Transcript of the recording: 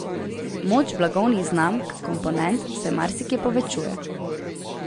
Moč blagovnih znamk komponent se marsikje povečuje.